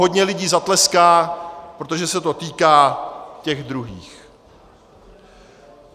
Hodně lidí zatleská, protože se to týká těch druhých.